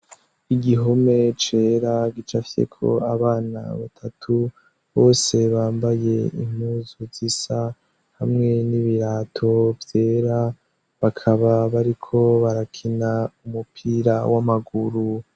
Igihome cera gicafyeko abana batatu bose bambaye impuzu zisa, hamwe n'ibirato vyera; bakaba bariko barakina umupira w'amaguru.